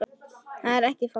Það er ekki falt